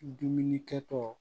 Dumunikɛtɔ